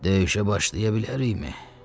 Döyüşə başlaya bilərikmi?